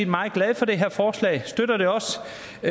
meget glade for det her forslag og støtter det også fordi